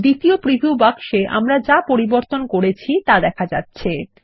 দ্বিতীয় প্রিভিউ বাক্সে আমরা যা পরিবর্তন করেছি তা দেখা যাচ্ছে